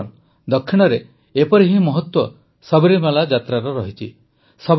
ବନ୍ଧୁଗଣ ଦକ୍ଷିଣରେ ଏପରି ହିଁ ମହତ୍ୱ ସାବରିମାଳା ଯାତ୍ରାର ରହିଛି